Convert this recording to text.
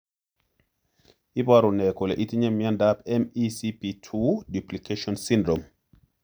Iporu ne kole itinye miondap MECP2 duplication syndrome?